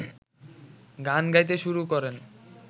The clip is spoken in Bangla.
গান গাইতে শুরু করেন